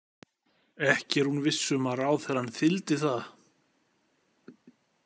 Ekki er hún viss um að ráðherrann þyldi það.